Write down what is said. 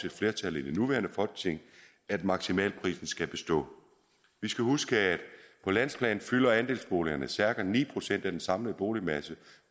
et flertal i det nuværende folketing at maksimalprisen skal bestå vi skal huske at på landsplan fylder andelsboligerne cirka ni procent af den samlede boligmasse